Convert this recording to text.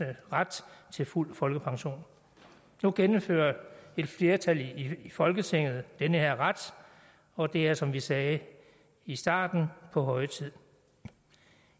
ret til fuld folkepension nu genindfører et flertal i folketinget denne ret og det er som vi sagde i starten på høje tid